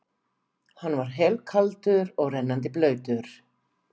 Hann var helkaldur og rennandi blautur.